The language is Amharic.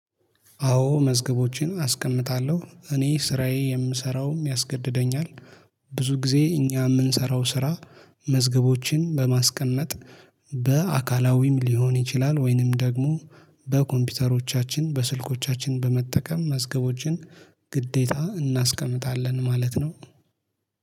አዎ መዝገቦቼን አስቀምጣለሁ እኔ ስራዬ የምሰራውም ያስገድደኛል። ብዙ ጊዜ እኛ የምንሰራው ስራ። መዝገቦችን በማስቀነጥ በአካላዊም ሊሆን ይችላል። ወይንም ደግሞ በኮምፒውተሮቻችን በስልኮቻችን በመጠቀም መዝገቦችን። ግዴታ እናስቀምጣለን ማለት ነው